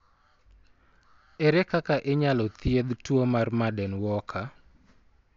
Ere kaka inyalo thiedh tuwo mar Marden Walker?